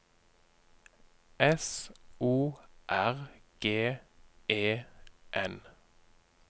S O R G E N